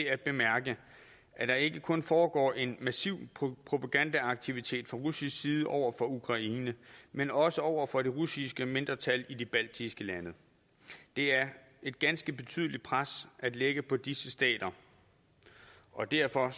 at bemærke at der ikke kun foregår en massiv propagandaaktivitet fra russisk side over for ukraine men også over for det russiske mindretal i de baltiske lande det er et ganske betydeligt pres at lægge på disse stater og derfor